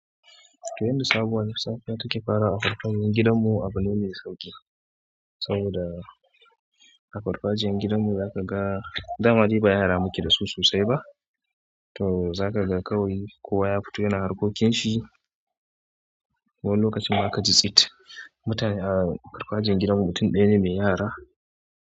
Yanda sabuwar lissafi take farawa farfajiyan gidan mu abu ne sauƙi, saboda a farfajiyan gidan mu za ka ga dama dai ba yara muke dasu sosai ba. To za ka ga kawai kowa ya fito yana harkokin shi. Wani lokaci ma ka ji tsit. Mutane a farfajiyan gidan mu mutun ɗaya ne mai yara.